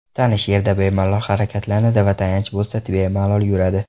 Tanish yerda bemalol harakatlanadi va tayanch bo‘lsa, bemalol yuradi.